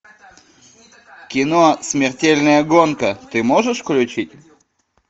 кино смертельная гонка ты можешь включить